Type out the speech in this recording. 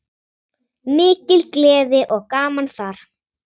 Mikil gleði og gaman þar.